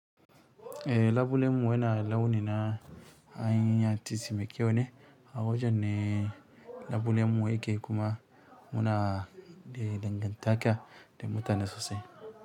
Eh, labulenmu yana launi na hanyar tisi mai kyau ne. A wajen ne labulemu yake kuma muna da dangantaka da mutane sosai.